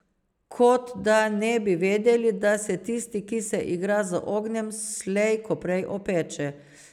Kot da ne bi vedeli, da se, tisti, ki se igra z ognjem, slej ko prej opeče.